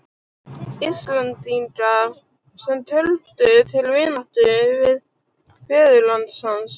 Íslendinga, sem töldu til vináttu við föðurland hans.